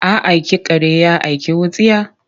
A aiki kare ya aiki wutsiya?